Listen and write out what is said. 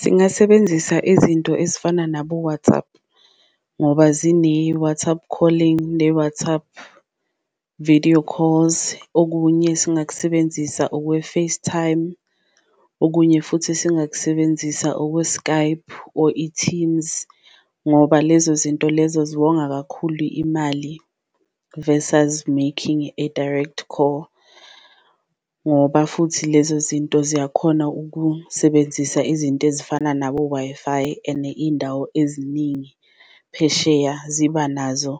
Singasebenzisa izinto ezifana nabo-WhatsApp ngoba zine-WhatsApp calling, ne-WhatsApp video calls, okunye esingakusebenzisa okwe-Facetime, okunye futhi esingakusebenzisa okwe-Skype or i-Teams. Ngoba lezo zinto lezo ziwonga kakhulu imali verses making a direct call ngoba futhi lezo zinto ziyakhona ukusebenzisa izinto ezifana nabo-Wi-Fi, ene iyindawo eziningi phesheya ziba nazo